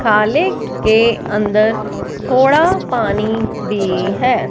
खालिक के अंदर थोड़ा पानी भी है।